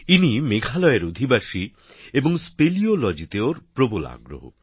ইনি মেঘালয়ের অধিবাসী এবং স্পেলিওলজিতে ওঁর প্রবল আগ্রহ